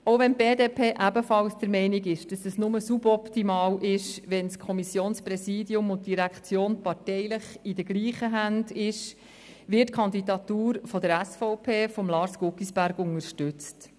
Auch wenn die BDP ebenfalls der Meinung ist, dass es nur suboptimal ist, wenn das Kommissionspräsidium und die Direktion parteilich in den gleichen Händen sind, wird die Kandidatur der SVP von Lars Guggisberg unterstützt.